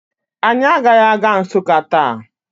Anyị agaghị aga Nsụka taa